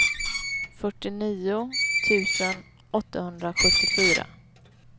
fyrtionio tusen åttahundrasjuttiofyra